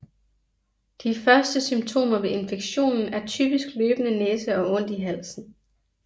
De første symptomer ved infektionen er typisk løbende næse og ondt i halsen